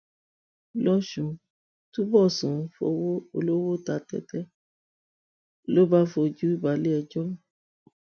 lọsùn túnbọsùn fọwọ olówó ta tẹtẹ ló bá fojú balẹẹjọ